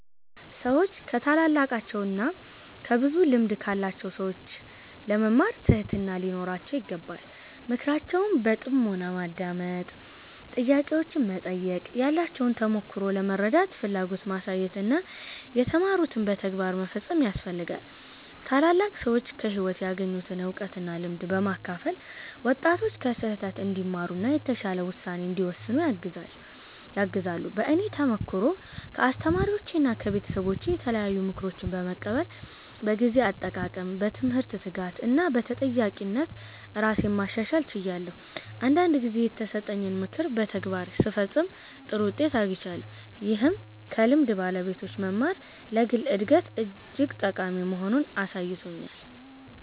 ሰዎች ከታላላቃቸው እና ከብዙ ልምድ ካላቸው ሰዎች ለመማር ትህትና ሊኖራቸው ይገባል። ምክራቸውን በጥሞና ማዳመጥ፣ ጥያቄዎችን መጠየቅ፣ ያላቸውን ተሞክሮ ለመረዳት ፍላጎት ማሳየት እና የተማሩትን በተግባር መፈጸም ያስፈልጋል። ታላላቅ ሰዎች ከህይወት ያገኙትን እውቀት እና ልምድ በማካፈል ወጣቶች ከስህተት እንዲማሩ እና የተሻለ ውሳኔ እንዲወስኑ ያግዛሉ። በእኔ ተሞክሮ ከአስተማሪዎቼና ከቤተሰቦቼ የተለያዩ ምክሮችን በመቀበል በጊዜ አጠቃቀም፣ በትምህርት ትጋት እና በተጠያቂነት ራሴን ማሻሻል ችያለሁ። አንዳንድ ጊዜ የተሰጠኝን ምክር በተግባር ስፈጽም ጥሩ ውጤት አግኝቻለሁ፣ ይህም ከልምድ ባለቤቶች መማር ለግል እድገት እጅግ ጠቃሚ መሆኑን አሳይቶኛል።